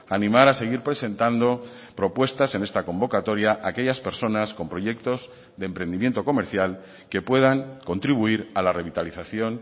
animar a seguir presentando propuestas en esta convocatoria a aquellas personas con proyectos de emprendimiento comercial que puedan contribuir a la revitalización